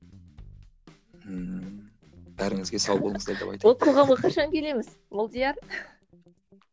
бәріңізге сау болыңыздар деп ол қоғамға қашан келеміз молдияр